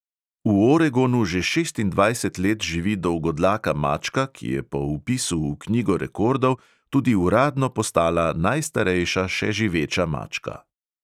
V oregonu že šestindvajset let živi dolgodlaka mačka, ki je po vpisu v knjigo rekordov tudi uradno postala najstarejša še živeča mačka.